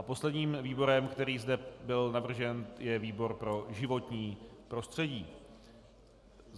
A posledním výborem, který zde byl navržen, je výbor pro životní prostředí.